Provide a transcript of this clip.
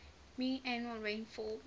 mean annual rainfall